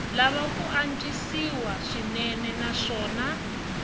lava ku antswisiwa swinene naswona